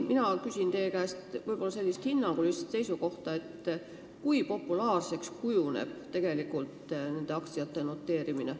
Mina küsin teie käest sellist hinnangulist seisukohta, kui populaarseks kujuneb nende aktsiate noteerimine.